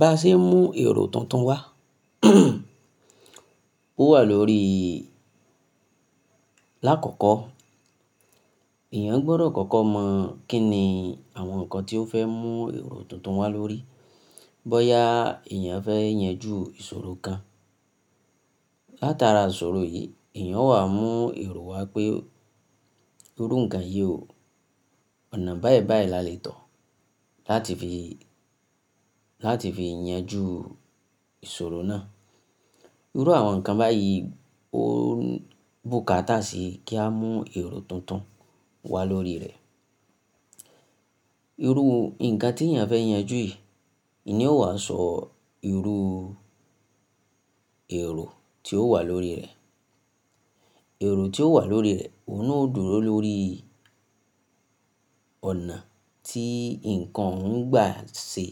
Bá ṣe ń mú èrò tuntun wá. Ó wà lórí l'akọkọ, èèyàn gbọdọ̀ kọ́kọ́ mọ̀ kín ni àwọn nǹkan tí ó fẹ́ mú èrò tuntun wá lórí. Bóyá èèyàn fẹ́ yanjú ìṣòro kan. Láta ara ìṣòro yìí, èèyàn ó wà mú èrò wá pé irú nǹkan yìí o, ọ̀nà báyìí báyìí la lè tọ̀ láti fi, láti fi yanjú ìṣòro náà. Irú àwọn nǹkan báyìí ó bù káta sí kí a mú èrò tuntun wá lórí rẹ̀. Irú nǹkan tí èèyàn fẹ́ yanjú yìí, ní ó wà sọ irú èrò tí ó wà lórí rẹ̀. Èrò tí ó wà lórí rẹ̀, òun ná dúró lórí ọ̀nà tí nǹkan ń gbà ṣe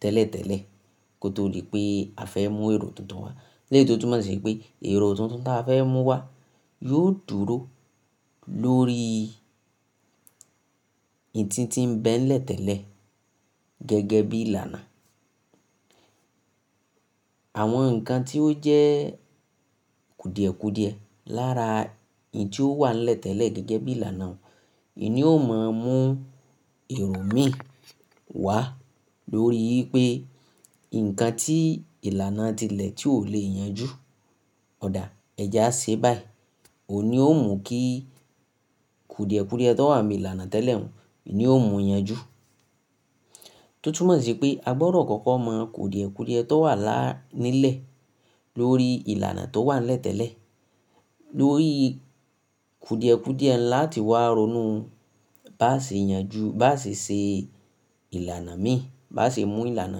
tẹ́lẹ̀tẹ́lẹ̀ kó tó dí pé a fẹ́ mú èrò tuntun wá. Láti fi yanjú ìṣòro náà. Irú àwọn nǹkan báyìí ó bù káta sí kí a mú èrò tuntun wá lórí rẹ̀. Àwọn nǹkan tí ó jẹ́ kùdìẹ̀kùdìẹ lára ìyí tí ó wà lè tẹ́lẹ̀ gẹ́gẹ́ bí ìlànà òun, òní ó mọ mú èrò mí wá lórí pé nǹkan tí ìlànà ti lẹ̀ tí ò lè yanjú. Ọ̀da, ẹja ṣe báyìí, òun ni ó mú kí kùdìẹ̀kùdìẹ tó wà ní ìlànà tẹ́lẹ̀ òun, òní ó mú yanjú. Tó túmọ̀ sí pé a gbọdọ̀ kọ́kọ́ mọ̀ kùdìẹ̀kùdìẹ tó wà la nílẹ̀ lórí ìlànà tó wàn lè tẹ́lẹ̀, lórí kùdìẹ̀kùdìẹ ńlá tí wà ronú bá ṣe yanjú, bá ṣe ṣe ìlànà mí, bá ṣe mú ìlànà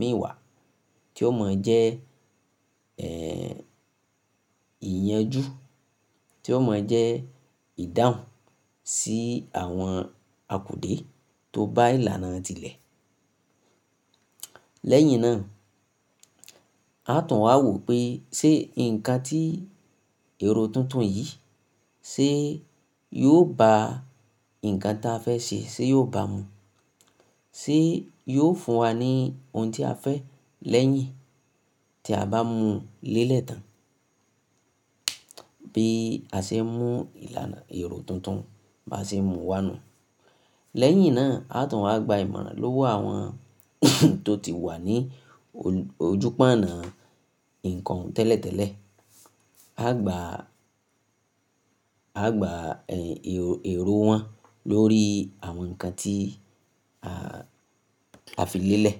mí wá tí ó mọ jẹ́, ẹ́, ìyanjú, tí ó mọ jẹ́ ìdáhùn sí àwọn akùdè tó bá ìlànà ti lẹ̀. Lẹ́yìn náà, a tàn wá wò pé ṣé nǹkan tí èrò tuntun yìí ṣé yóò bá nǹkan tí a fẹ́ ṣe ṣé yóò bá mu. Ṣé yóò fún wa ní ohun tí a fẹ́ lẹ́yìn tí a bá mu lélẹ̀ tán. Bí a ṣe ń mú ìlànà èrò tuntun bá ṣe mú wa nu. Lẹ́yìn náà, a tàn wá gba ìmọ̀ràn lówó àwọn tó ti wà ní ojú pọ́nà nǹkan tẹ́lẹ̀tẹ́lẹ̀. A gbà, a gbà, ẹ́, èrò wọn lórí àwọn nǹkan tí a fi lélẹ̀